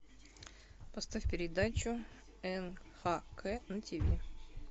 поставь передачу нхк на ти ви